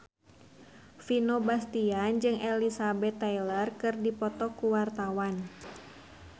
Vino Bastian jeung Elizabeth Taylor keur dipoto ku wartawan